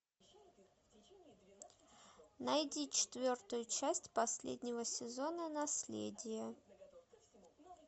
найди четвертую часть последнего сезона наследие